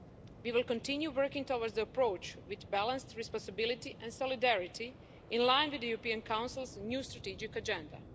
We will continue working towards the approach with balanced responsibility and solidarity, in line with the European Council's new strategic agenda.